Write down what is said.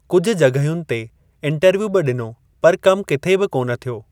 कुझु जॻहियुनि ते इंटरव्यू बि ॾिनो, पर कम किथे बि कोन थ्यो।